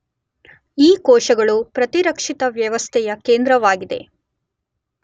ಈ ಕೋಶಗಳು ಪ್ರತಿರಕ್ಷಿತ ವ್ಯವಸ್ಥೆಯಕೇಂದ್ರವಾಗಿದೆ